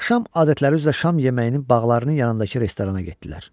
Axşam adətləri üzrə şam yeməyinin Bağların yanındakı restorana getdilər.